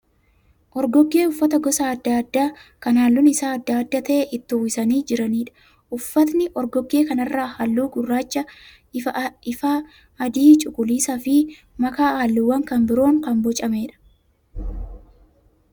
Orgoggee uffata gosa adda addaa ka halluun isaa adda adda ta'e itti uwwisanii jiraniidha. Uffatni orgoggee kana irraa halluu gurraacha ifaa, adii, cuquliisaa fi makaa halluuwwan kan biroon kaan boocameedha.